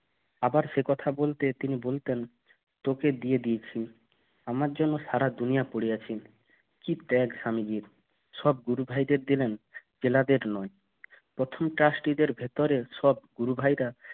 আবার সেই কথা বলতে তিনি বলতেন তোকে দিয়ে দিয়েছি আমার জন্য সারা দুনিয়া পড়ে আছে কি ত্যাগ স্বামীর সব গুরু ভাইদের দিলেন চেলাদের নয় প্রথম Trustee দের ভিতরে সব গুরু ভাইয়েরা